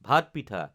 ভাত পিঠা